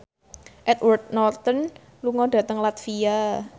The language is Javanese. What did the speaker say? Edward Norton lunga dhateng latvia